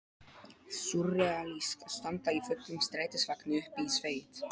Súrrealískt að standa í fullum strætisvagni uppi í sveit!